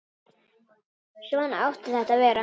Svona átti þetta að vera.